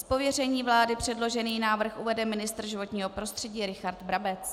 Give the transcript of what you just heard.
Z pověření vlády předložený návrh uvede ministr životního prostředí Richard Brabec.